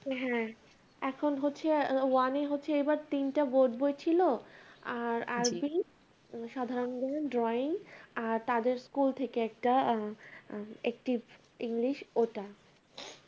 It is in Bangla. হ্যাঁ, এখন হচ্ছে one হচ্ছে এবার তিনটা board বই ছিল, আর আরবি, সাধারণ জ্ঞান, drawing আর তাদের school থেকে একটা আহ english ওটা।